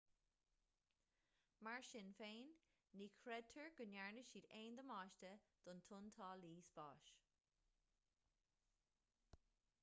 mar sin féin ní chreidtear go ndearna siad aon damáiste don tointeálaí spáis